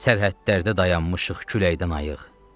Sərhədlərdə dayanmışıq küləkdən ayıq.